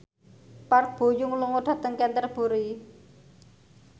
Park Bo Yung lunga dhateng Canterbury